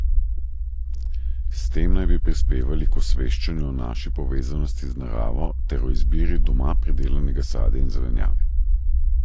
S tem naj bi prispevali k osveščanju o naši povezanosti z naravo ter o izbiri doma pridelanega sadja in zelenjave.